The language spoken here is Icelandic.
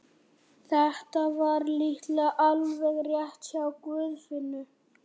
Þetta var líklega alveg rétt hjá Guðfinnu.